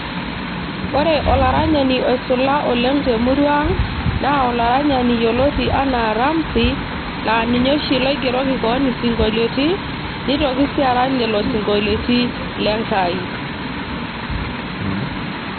ore olaranyani oisula oleng temurua ang naa olaranyani yioloti enaa Ramsi laa ninye oshi loigeroki koon isinkolioti nitoki sii arany lelo sinkolioti lenkai.